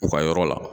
U ka yɔrɔ la